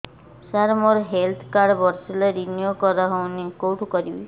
ସାର ମୋର health card ବର୍ଷେ ହେଲା ରିନିଓ କରା ହଉନି କଉଠି କରିବି